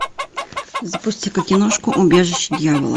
запусти ка киношку убежище дьявола